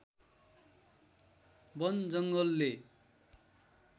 वन जङ्गलले